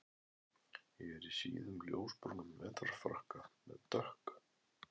Ég er í síðum ljósbrúnum vetrarfrakka með dökk